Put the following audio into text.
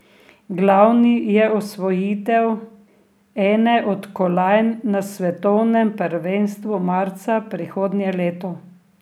Glavni je osvojitev ene od kolajn na svetovnem prvenstvu marca prihodnje leto.